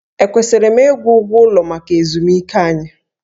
Ekwesịrị m ịgwụ ụgwọ ụlọ maka ezumike anyị?